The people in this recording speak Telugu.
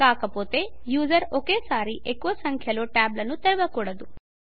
కాకపోతే యూజర్ ఒకేసారి ఎక్కువ సంఖ్యలో ట్యాబులను తెరవకూడదు